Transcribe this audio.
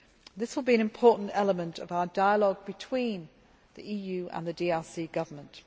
This will be an important element of our dialogue between the EU and the DRC Government.